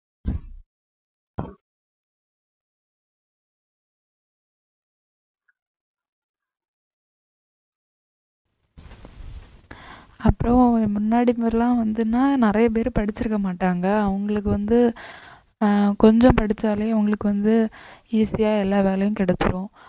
அப்புறம் முன்னாடி மாதிரி எல்லாம் வந்துன்னா நிறைய பேர் படிச்சிருக்க மாட்டாங்க அவங்களுக்கு வந்து ஆஹ் கொஞ்சம் படிச்சாலே அவங்களுக்கு வந்து easy யா எல்லா வேலையும் கிடைச்சுரும்